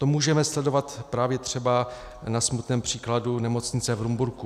To můžeme sledovat právě třeba na smutném příkladu nemocnice v Rumburku.